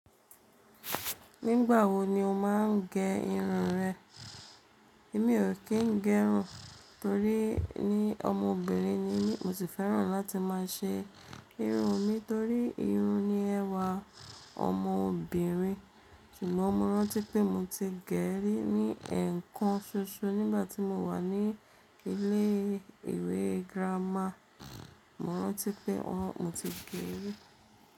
Nígbà wo ni o máa ń gẹ irun rẹ? Èmi ò kí ń gẹ irun torí ni ọmọbìnrin ni mí, mo sì fẹ́ràn láti má a ṣe irun mi torí irun ni ẹwà ọmọbìnrin. Ṣùgbọ́n mo rántí pé mo ti gè é rí ní ẹ̀ẹ̀kan ṣoṣo nígbà tí mo wà ní ilé ìwé girama. Mo rántí pé mo ti gẹ́ rí.